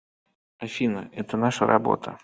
афина это наша работа